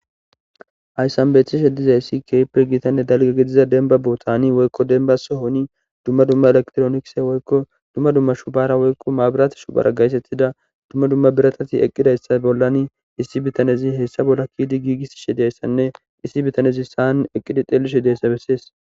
Hayssan beetishe dizayssi keehipe dalgga gidida bessani woyko dalgga sohoni dumma dumma elekitronikise shubora issi bitanezzi giigisishe dizayssa bessees.